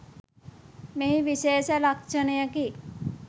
මෙහි විශේෂ ලක්ෂණයකි.